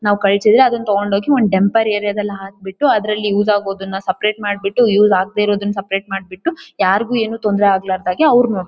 ನಾವು ಕಳ್ಸಿದ್ರೆ ಅದನ್ನ ತಗೊಂಡ್ ಹೋಗಿ ಟೆಂಪೆರ್ ಏರಿಯಾ ದಲ್ಲಿ ಹಾಕೆಬಿಟ್ಟು ಅದ್ರಲ್ಲಿ ಯೂಸ್ ಆಗೋದನ್ನ ಸಪರೇಟ್ ಮಾಡ್ಬಿಟ್ಟು ಯೂಸ್ ಆಗ್ದೇ ಇರುದನ್ನ ಸಪರೇಟ್ ಮಾಡ್ಬಿಟ್ಟುಯಾರಿಗೂ ಏನ್ ತೊಂದ್ರೆ ಆಗಲಾರ್ದಗೆ ಅವ್ರು ನೋಡ್ಕೊಂತಾರೆ--